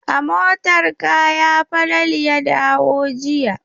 A motar kaya Falalu ya dawo jiya.